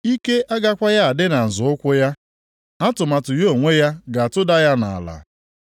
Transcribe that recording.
Ike agakwaghị adị na nzọ ukwu ya; atụmatụ ya onwe ya ga-atụda ya nʼala.